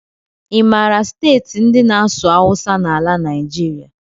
I maara steeti ndị na-asụ awụsa n'ala Naijiria?